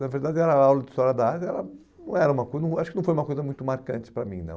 Na verdade, era aula de História da Área era não era uma coi acho que não foi uma coisa muito marcante para mim, não.